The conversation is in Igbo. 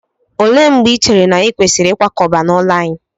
Olee mgbe i chere na anyị kwesịrị ịkwakọba n'ụlọ anyị?